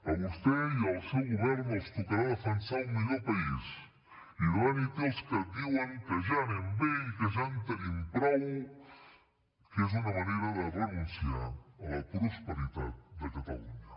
a vostè i al seu govern els tocarà defensar un millor país i davant hi té els que diuen que ja anem bé i que ja en tenim prou que és una manera de renunciar a la prosperitat de catalunya